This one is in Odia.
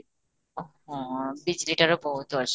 ଆଃ ହଁ, ବିଜଲୀଟାରେ ବହୁତ ଅସୁବିଧା